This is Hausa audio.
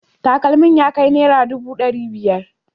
Takalmin ya kai naira dubu dari biyar